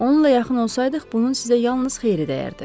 “Onunla yaxın olsaydıq, bunun sizə yalnız xeyri dəyərdi,”